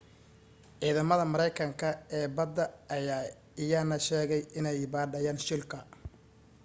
ciidamada maraykanka ee badda ayaa iyana sheegay inay baadhayaan shilka